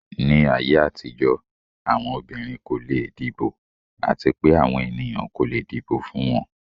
Ni ayé àtijọ́, àwọn obìnrin kò leè dìbò àti pé àwọn ènìyàn kò le dìbò fún wọn.